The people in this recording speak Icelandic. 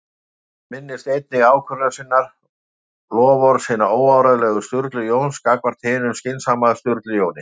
Hann minnist einnig ákvörðunar sinnar- loforðs hins óáreiðanlega Sturlu Jóns gagnvart hinum skynsama Sturlu Jóni